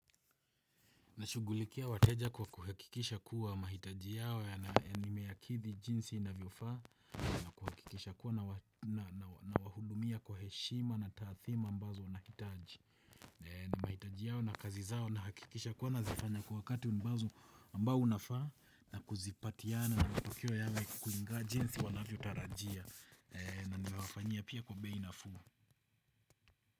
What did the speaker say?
Nashugulikia wateja kwa kuhakikisha kuwa mahitaji yao ya nimeyakidhi jinsi inavyofaa. Na kuhakikisha kuwa nawahudumia kwa heshima na taadhima ambazo wanahitaji. Na mahitaji yao na kazi zao na hakikisha kuwa nazifanya kwa wakati ambao unafaa. Na kuzipatiana na matokeo yawe kukulingans jinsi wanavyotarajia. Na nimewafanyia pia kwa bei nafuu.